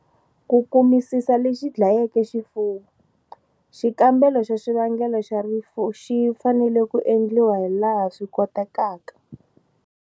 Ku kumisisa lexi dlayeke xifuwo, xikambelo xa xivangelo xa rifu xi fanele ku endliwa hilaha swi kotekaka.